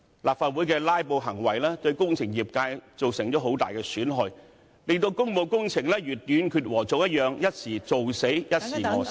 立法會的"拉布"行為，對工程業界造成很大損害，令工務工程如"斷截禾蟲"一樣，"一時做死，一時餓死"。